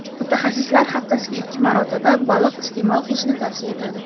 Mutaxassislar haftasiga ikki marotaba baliq iste’mol qilishni tavsiya etadi.